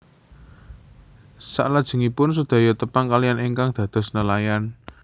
Saklajengipun sedaya tepang kaliyan ingkang dados nelayan